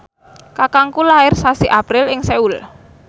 kakangku lair sasi April ing Seoul